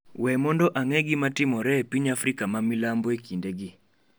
we mondo ang'e gima timore e piny Afrika ma milambo e kindegi